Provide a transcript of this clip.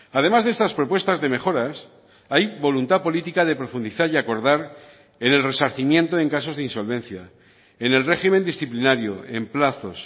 además de estas propuestas de mejoras hay voluntad política de profundizar y acordar en el resarcimiento en casos de insolvencia en el régimen disciplinario en plazos